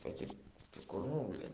кстати как у рубля